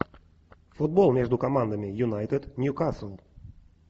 футбол между командами юнайтед ньюкасл